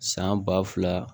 San ba fila